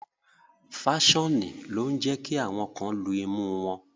Faṣoni lo ǹ jẹ ki awọn kan lú imu wọn